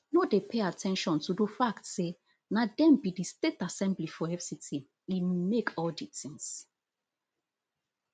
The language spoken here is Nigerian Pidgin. no dey pay at ten tion to do fact say na dem be di state assembly for fct e make all di tins